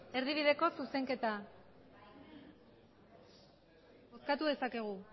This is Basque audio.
erdibideko zuzenketa bozkatu dezakegu